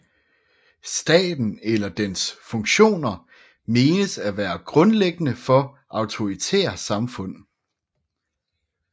Staten eller dens funktioner menes at være grundlæggende for autoritære samfund